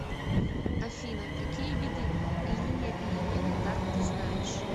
афина какие виды линия перемены дат ты знаешь